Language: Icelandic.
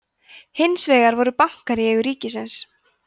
hins vegar voru bankar í eigu ríkisins